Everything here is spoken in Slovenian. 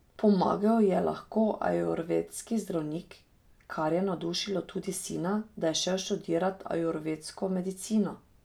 Pomagal ji je lahko ajurvedski zdravnik, kar je navdušilo tudi sina, da je šel študirat ajurvedsko medicino.